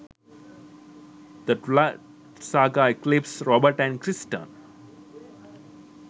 the twiligh saga: eclipse robert & kristen